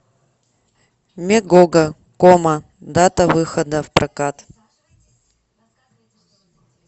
мегого кома дата выхода в прокат